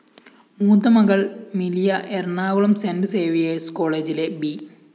മൂത്ത മകള്‍ Milia Ernakulam Saint Xavier's കോളേജിലെ ബി